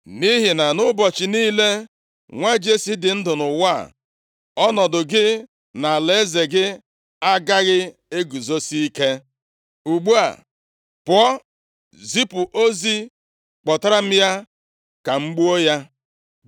Nʼihi na ụbọchị niile nwa Jesi dị ndụ nʼụwa a, ọnọdụ gị na alaeze gị agaghị eguzosi ike. Ugbu a, pụọ, zipụ ozi kpọtara m ya ka m gbuo ya!”